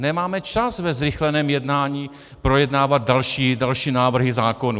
Nemáme čas ve zrychleném jednání projednávat další návrhy zákonů.